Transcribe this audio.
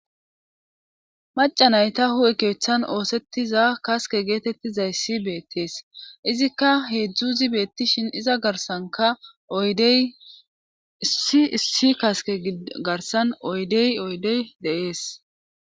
Macanayta hu'ekeethan oosettiza kaske geetettizay si beettees izikka heedzdzuzi beettishin iza garsanka oydey issi kaske garsan oydey oydey de'ees.